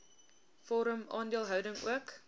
vorm aandeelhouding ook